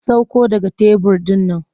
Sakko daga kan tebur ɗin nan!